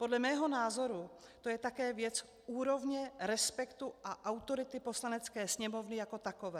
Podle mého názoru to je také věc úrovně, respektu a autority Poslanecké sněmovny jako takové.